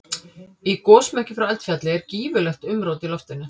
Í gosmekki frá eldfjalli er gífurlegt umrót í loftinu.